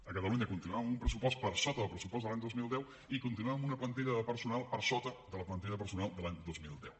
a catalunya continuem amb un pressupost per sota del pressupost de l’any dos mil deu i continuem amb una plantilla de personal per sota de la plantilla de personal de l’any dos mil deu